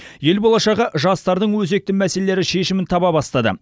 ел болашағы жастардың өзекті мәселелері шешімін таба бастады